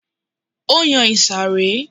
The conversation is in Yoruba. Ó yan ìsàré